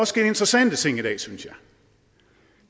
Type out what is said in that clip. sket interessante ting i dag synes jeg